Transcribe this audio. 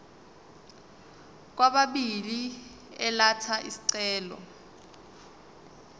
kwababili elatha isicelo